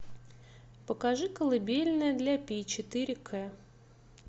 покажи колыбельная для пи четыре к